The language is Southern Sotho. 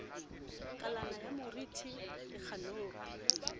kalana ya moriti le khanopi